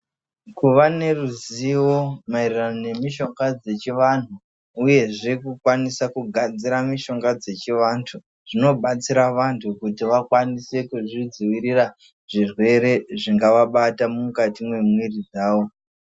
Kuva neruzivo maererano nemishonga dzechivanhu, uyezve kukwanisa kugadzira mushonga dzechivanhu, zvinobatsira vantu kuti vakwanise kuzvidzivirira, zvirwere zvingavabata mukati mwemwiri dzavo.